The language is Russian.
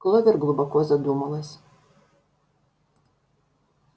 кловер глубоко задумалась